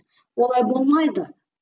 олай болмайды